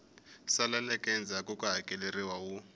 saleleke endzhaku ku hakeleriwa wu